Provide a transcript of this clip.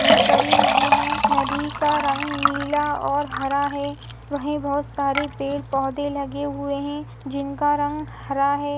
बहुत बड़ी नदी है नदी का रंग नीला और हरा है वही बहुत सारे पेड़ पौधे लगे हुए है जिनका रंग हरा है।